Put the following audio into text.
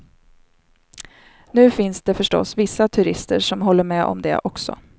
Nu finns det förstås vissa turister som håller med om det också.